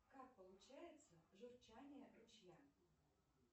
как получается журчание ручья